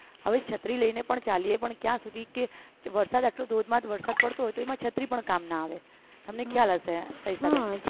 હવે છત્રી લઈને પણ ચાલીએ પણ ત્યાં સુધી કે વરસાદ એટલો ધોધમાર વરસાદ પડતો હોય તો એમાં છત્રી પણ કામ ના આવે તમને ખ્યાલ હશે સવિતાબેન